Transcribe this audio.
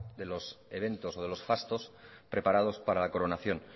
de los eventos o de los fastos preparados para la coronación